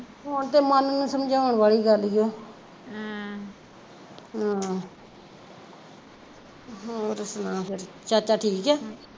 ਹੁਣ ਤੇ ਮੰਨ ਨੂੰ ਸਮਜਾਉਣ ਵਾਲੀ ਗੱਲ ਜੇ ਆਹ ਆਹੋ ਹੋਰ ਸੁਣਾ ਫਿਰ ਚਾਚਾ ਠੀਕ ਐ